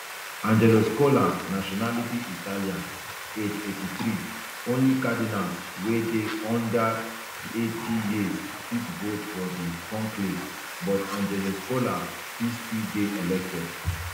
angelo scola nationality italian age eighty-three only cardinals wey dey under eighty years fit vote for di conclave but angelo scola fit still dey elected